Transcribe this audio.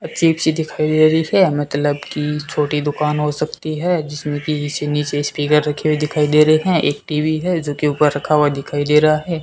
अजीब सी दिखाई दे रही है मतलब की छोटी दुकान हो सकती है जिसमें की जैसे नीचे स्पीकर रखे हुए दिखाई दे रहे हैं एक टी_वी है जोकि ऊपर रखा हुआ दिखाई दे रहा है।